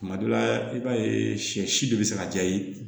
Tuma dɔ la i b'a ye sɛ si de bɛ se ka ja yen